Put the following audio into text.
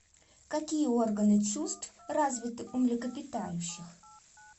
какие органы чувств развиты у млекопитающих